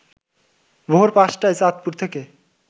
ভোর ৫ টায় চাঁদপুর থেকে